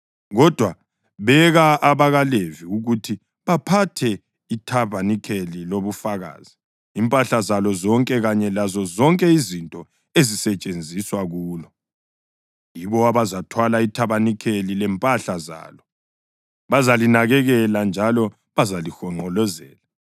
Kodwa, beka abaLevi ukuthi baphathe ithabanikeli lobufakazi, impahla zalo zonke kanye lazozonke izinto ezisetshenziswa kulo. Yibo abazathwala ithabanikeli lempahla zalo; bazalinakekela njalo bazalihonqolozela.